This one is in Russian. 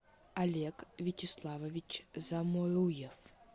олег вячеславович заморуев